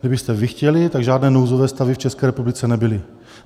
Kdybyste vy chtěli, tak žádné nouzové stavy v České republice nebyly.